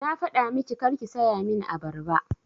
Na faɗa miki karki saya min abarba!